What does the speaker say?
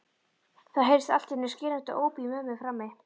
Það heyrðist allt í einu skerandi óp í mömmu frammi.